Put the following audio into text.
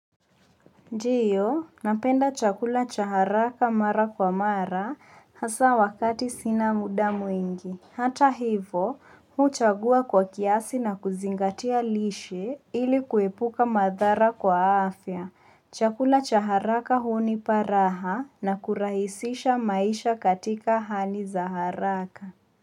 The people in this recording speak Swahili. Ndio, napenda chakula cha haraka mara kwa mara hasa wakati sina muda mwingi. Hata hivo, huchagua kwa kiasi na kuzingatia lishe ili kuepuka madhara kwa afya. Chakula cha haraka huniparaha na kurahisisha maisha katika hali za haraka.